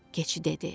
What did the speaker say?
Keçi dedi.